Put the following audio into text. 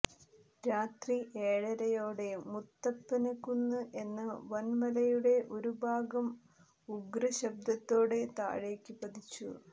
രാത്രി ഏഴരയോടെ മുത്തപ്പന്കുന്ന് എന്ന വന്മലയുടെ ഒരുഭാഗം ഉഗ്രശബ്ദത്തോടെ താഴേക്ക് പതിച്ചു